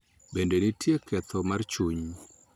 Bende, nitie ketho mar chuny .